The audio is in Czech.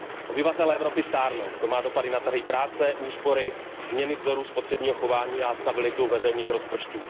Obyvatelé Evropy stárnou, to má dopady na trhy práce, úspory, změny vzoru spotřebního chování a stabilitu veřejných rozpočtů.